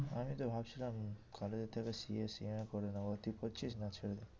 আমি তো ভাবছিলাম college এর থেকে COCM এ করে নেবো। তুই করছিস না ছেড়ে দে